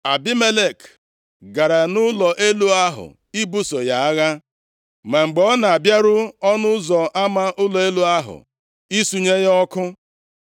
Abimelek gara nʼụlọ elu ahụ ibuso ya agha. Ma mgbe ọ na-abịaru ọnụ ụzọ ama ụlọ elu ahụ isunye ya ọkụ,